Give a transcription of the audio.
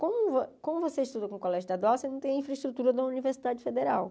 Como vo como você estuda com o colégio estadual, você não tem a infraestrutura da Universidade Federal.